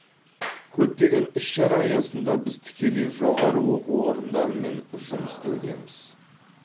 көптеген іс шара аясында біз тікелей жоғары оқу орындарымен жұмыс істеудеміз